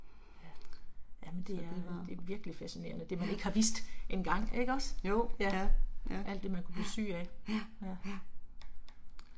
Så det var. Ja, jo ja, ja. Ja, ja ja.